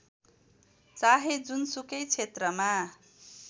चाहे जुनसुकै क्षेत्रमा